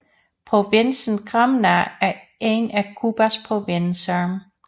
Provinsen Granma er en af Cubas provinser